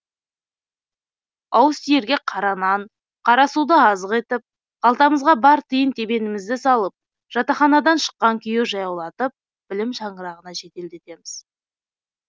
ауыз тиерге қара нан қара суды азық етіп қалтамызға бар тиын тебенімізді салып жатаханадан шыққан күйі жаяулатып білім шаңырағына жеделдетеміз